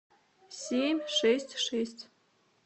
семь шесть шесть